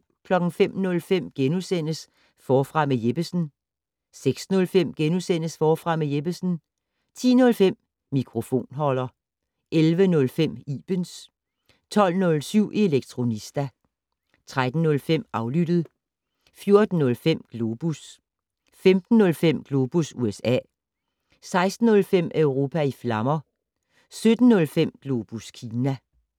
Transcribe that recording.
05:05: Forfra med Jeppesen * 06:05: Forfra med Jeppesen * 10:05: Mikrofonholder 11:05: Ibens 12:07: Elektronista 13:05: Aflyttet 14:05: Globus 15:05: Globus USA 16:05: Europa i flammer 17:05: Globus Kina